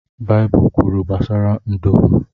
Baịbụl kwuru gbasara nduru.